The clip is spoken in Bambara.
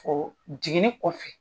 O jiginnin kɔfɛ.